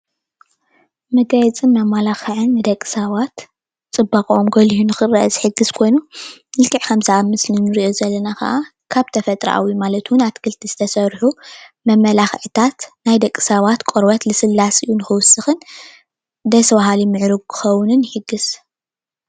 መጋየፅን መመላክዕን ደቂ ሰባት ፅባቀኦም ጎሊሁ ንክረአ ዝሕግዝ ኮይኑ ልክዕ ከምዚ ኣብ ምስሊ እንሪኦ ዘለና ከዓ ካብ ተፈጥራኣዊ ማለት ድማ ካብ ኣትክልቲ ዝተሰርሑ መመለክዕታት ናይ ደቂ ሰባት ቆርበት ልስላስኡ ንክውስክን ደስ በሃሊን ምዕሩግ ክከውን ይሕግዝ፡፡